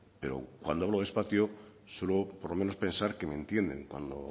pero cuando hablo despacio suelo por lo menos pensar que me entienden cuando